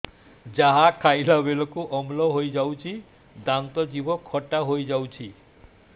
ଯାହା ଖାଇଲା ବେଳକୁ ଅମ୍ଳ ହେଇଯାଉଛି ଦାନ୍ତ ଜିଭ ଖଟା ହେଇଯାଉଛି